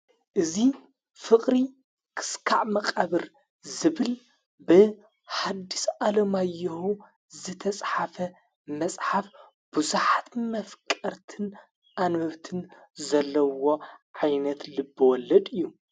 እዙ ፍቕሪ ክስካዕ መቐብር ዝብል ብ ሓድስ ዓሎማይሁ ዘተጽሓፈ መጽሓፍ ብዙኃት መፍቀርትን ኣንበብትን ዘለዎ ዓይነት ልቢ ወለድ እዩ